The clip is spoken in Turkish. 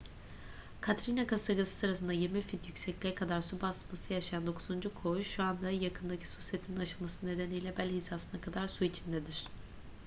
katrina kasırgası sırasında 20 fit yüksekliğe kadar su basması yaşayan dokuzuncu koğuş şu anda yakındaki su setinin aşılması nedeniyle bel hizasına kadar su içindedir